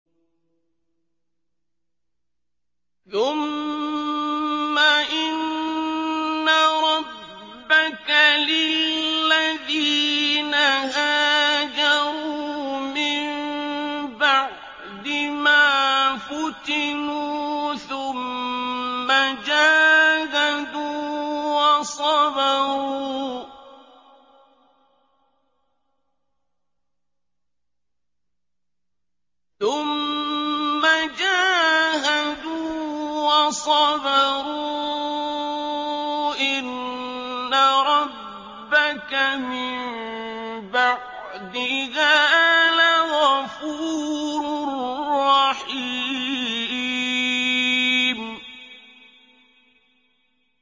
ثُمَّ إِنَّ رَبَّكَ لِلَّذِينَ هَاجَرُوا مِن بَعْدِ مَا فُتِنُوا ثُمَّ جَاهَدُوا وَصَبَرُوا إِنَّ رَبَّكَ مِن بَعْدِهَا لَغَفُورٌ رَّحِيمٌ